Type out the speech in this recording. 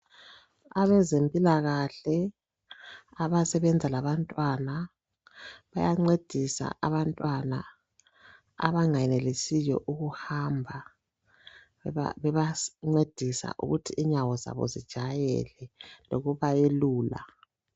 Abezempilakahle abasebenza labantwana bayancedisa abantwana abangenelisiyo ukuhamba bebancedisa ukuthi inyawo zabo zijayele lokuba yelula.